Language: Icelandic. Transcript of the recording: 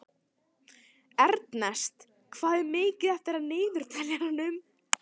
Ernest, hvað er mikið eftir af niðurteljaranum?